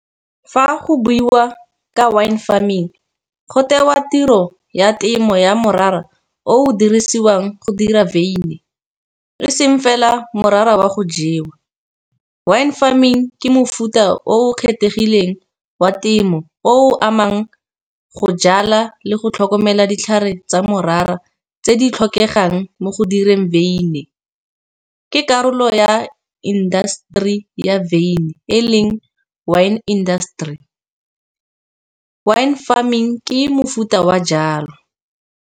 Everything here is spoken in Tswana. Fa go buiwa ka wine farming go tewa tiro ya temo ya morara, o o dirisiwang go dira wyn e seng fela morara wa go jewa. Wine farming ke mofuta o kgethegileng wa temo, o o amang go jala le go tlhokomela ditlhare tsa morara, tse di tlhokegang mo go direng wyn. Ke karolo ya indaseteri ya wyn, wine industry. Wine farming ke mofuta wa jalo.